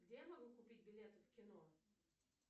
где я могу купить билеты в кино